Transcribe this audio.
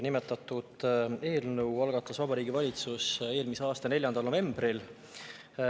Nimetatud eelnõu algatas Vabariigi Valitsus eelmise aasta 4. novembril.